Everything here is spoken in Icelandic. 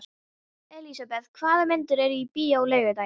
Elisabeth, hvaða myndir eru í bíó á laugardaginn?